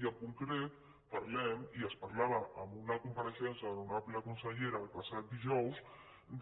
i en concret parlem i es parlava en una compareixença de l’honorable conselle·ra el passat dijous